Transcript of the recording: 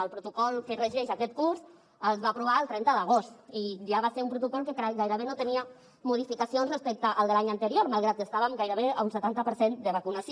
el protocol que regeix aquest curs es va aprovar el trenta d’agost i ja va ser un protocol que gairebé no tenia modificacions respecte al de l’any anterior malgrat que estàvem gairebé a un setanta per cent de vacunació